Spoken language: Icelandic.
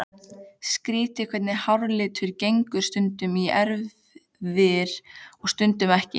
Skrýtið hvernig háralitur gengur stundum í erfðir og stundum ekki.